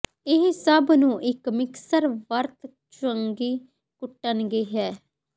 ਇਹ ਸਭ ਨੂੰ ਇੱਕ ਮਿਕਸਰ ਵਰਤ ਚੰਗੀ ਕੁੱਟਣਗੇ ਹੈ